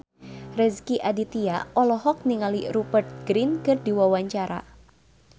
Rezky Aditya olohok ningali Rupert Grin keur diwawancara